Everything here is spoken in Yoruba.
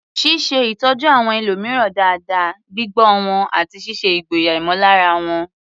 Ṣíṣe ìtọ́jú àwọn ẹlòmíràn dáadáa, gbígbọ́ wọn, àti ṣíṣe ìgboyà ìmọ̀lára wọn.